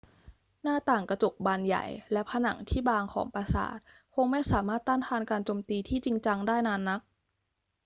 หน้าต่างกระจกบานใหญ่และผนังที่บางของปราสาทคงไม่สามารถต้านทานการโจมตีที่จริงจังได้นานนัก